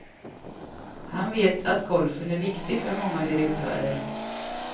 Han vet att golfen är viktig för många direktörer.